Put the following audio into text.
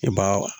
I b'a